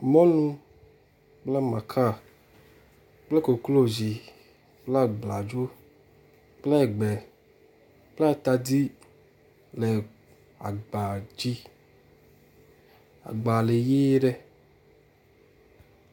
Mɔlu kple makaa kple koklozi kple abladzo kple egbe kple atadi le agba dzi. Agba le ʋii ɖe.